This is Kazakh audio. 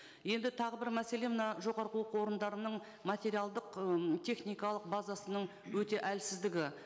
енді тағы бір мәселе мына жоғарғы оқу орындарының материалдық м техникалық базасының өте әлсіздігі